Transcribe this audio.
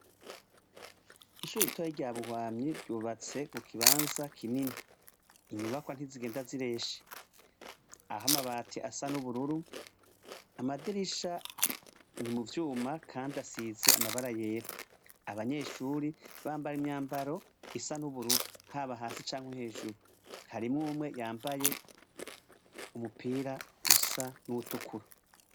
Ishure ritoyi rya Ruhwamyi ryubatse mu kibanza kinini. Intyubakwa ntizigenda zireshe. Aho amabati asa n'ubururu, amadirisha ni mu vyuma kandi asize amabara yera. Abanyeshure bambaye imyambaro isa n'ubururu, haba hasi canke hejuru. Harimwo umwe yambaye umyupira usa n'uwutukura.